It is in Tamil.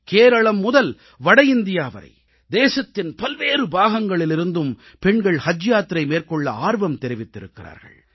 கேரளம் முதல் வட இந்தியா வரை தேசத்தின் பல்வேறு பாகங்களிலிருந்தும் பெண்கள் ஹஜ் யாத்திரை மேற்கொள்ள ஆர்வம் தெரிவித்திருக்கிறார்கள்